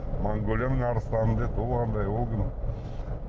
монғолияның арыстаны деді ол қандай ол кім